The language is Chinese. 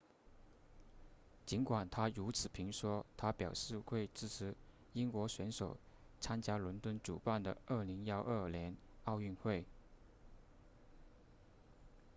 尽管他如此评说他表示会支持英国选手参加伦敦主办的2012年奥运会